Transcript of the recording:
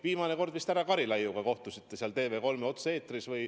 Viimane kord vist härra Karilaiuga te kohtusite TV3 otse-eetris.